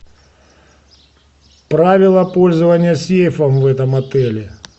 правила пользования сейфа в этом отеле